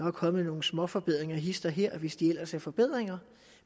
er kommet nogle småforbedringer hist og her hvis ellers det er forbedringer